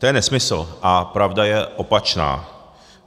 To je nesmysl a pravda je opačná.